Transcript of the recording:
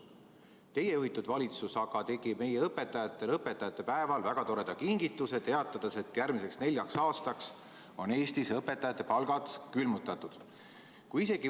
Teie juhitud valitsus tegi aga meie õpetajatele õpetajate päeval väga toreda kingituse, teatades, et järgmiseks neljaks aastaks on Eestis õpetajate palgad külmutatud.